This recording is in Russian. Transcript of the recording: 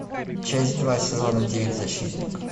часть два сезона девять защитник